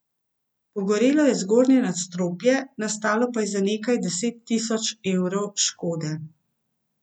Pogorelo je zgornje nadstropje, nastalo pa je za nekaj deset tisoč evrov škode.